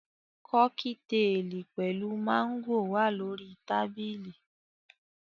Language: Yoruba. Kọ́kítelì pẹ̀lú máńgò wà lórí tábìlì